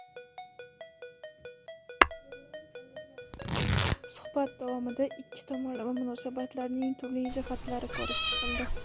Suhbat davomida ikki tomonlama munosabatlarning turli jihatlari ko‘rib chiqildi.